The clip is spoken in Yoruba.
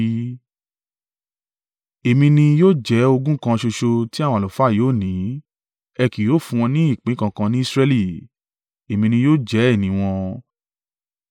“ ‘Èmi ni yóò jẹ́ ogún kan ṣoṣo tí àwọn àlùfáà yóò ní. Ẹ kì yóò fún wọn ni ìpín kankan ní Israẹli, Èmi ni yóò jẹ́ ìní wọn.